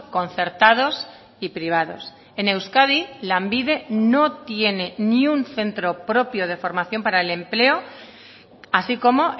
concertados y privados en euskadi lanbide no tiene ni un centro propio de formación para el empleo así como